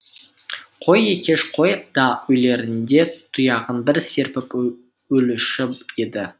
қой екеш қой да өлерінде тұяғын бір серпіп өлуші еді